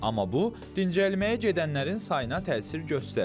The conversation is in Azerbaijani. Amma bu dincəlməyə gedənlərin sayına təsir göstərmir.